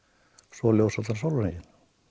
svo ljós allan sólarhringinn